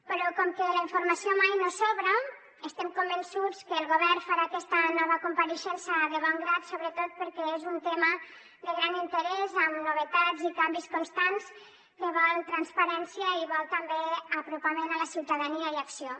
però com que la informació mai no sobra estem convençuts que el govern farà aquesta nova compareixença de bon grat sobretot perquè és un tema de gran interès amb novetats i canvis constants que vol transparència i vol també apropament a la ciutadania i acció